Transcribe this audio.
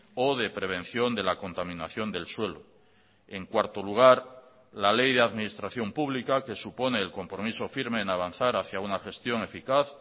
o de prevención de la contaminación del suelo en cuarto lugar la ley de administración pública que supone el compromiso firme en avanzar hacía una gestión eficaz